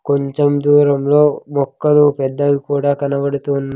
కొంచం దూరంలో మొక్కలు పెద్దవి కూడా కనబడుతున్--